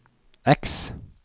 X